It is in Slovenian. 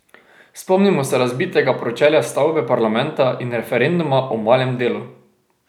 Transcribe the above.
Spomnimo se razbitega pročelja stavbe parlamenta in referenduma o malem delu.